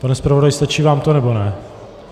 Pane zpravodaji, stačí vám to, nebo ne?